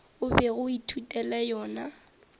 o bego o ithutela yona